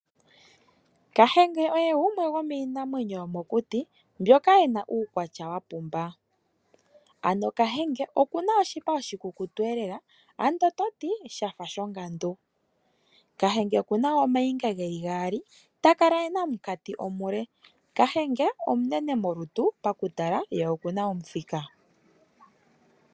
Kahenge oye gumwe gomiinamwenyo yomokuti mbyoka yina uukwatya wapumba ano kahenge okuna oshipa oshikukutu elela ando toti shafa shongandu. Kahenge okuna woo ooniga dhili mbali takala ena omukati omule, kahenge omunene molutu pakutala ye okuna omuthika.